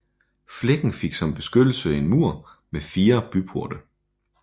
Flækken fik som beskyttelse en mur med fire byporte